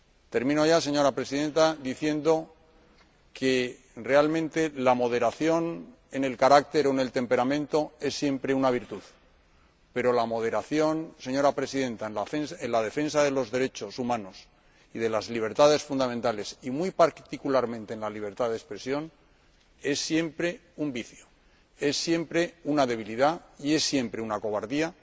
Termino ya, señora Presidenta, diciendo que, realmente, la moderación en el carácter o en el temperamento es siempre una virtud, pero la moderación, señora Presidenta, en la defensa de los derechos humanos y de las libertades fundamentales, muy particularmente en la libertad de expresión, es siempre un vicio, es siempre una debilidad y es siempre una cobardía